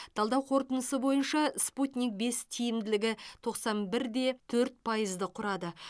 талдау қорытындысы бойынша спутник бес тиімділігі тоқсан бір де төрт пайызды құрады